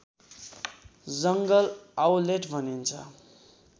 जङ्गल आउलेट भनिन्छ